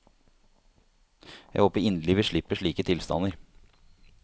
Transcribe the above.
Jeg håper inderlig vi slipper slike tilstander.